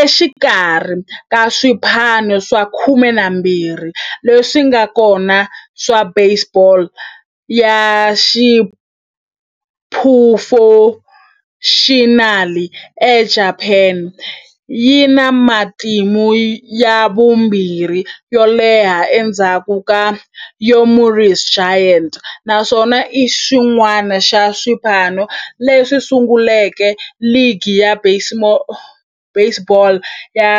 Exikarhi ka swipano swa 12 leswi nga kona swa baseball ya xiphurofexinali eJapani, yi na matimu ya vumbirhi yo leha endzhaku ka Yomiuri Giants, naswona i xin'wana xa swipano leswi sunguleke ligi ya baseball ya